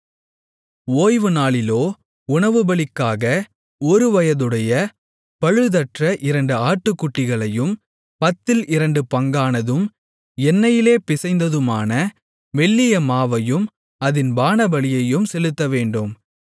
ஓய்வுநாளிலோ உணவுபலிக்காக ஒருவயதுடைய பழுதற்ற இரண்டு ஆட்டுக்குட்டிகளையும் பத்தில் இரண்டு பங்கானதும் எண்ணெயிலே பிசைந்ததுமான மெல்லிய மாவையும் அதின் பானபலியையும் செலுத்தவேண்டும்